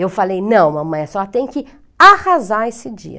Eu falei, não, mamãe, só tem que arrasar esse dia.